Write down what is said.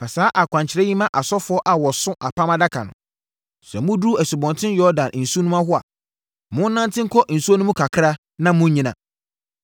Fa saa akwankyerɛ yi ma asɔfoɔ a wɔso Apam Adaka no: ‘Sɛ moduru Asubɔnten Yordan nsunoa hɔ a, monnante nkɔ nsuo no mu kakra na monnyina.’ ”